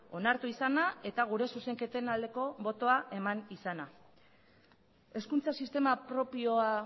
onartu izana eta gure zuzenketen aldeko botoa eman izana hezkuntza sistema propioa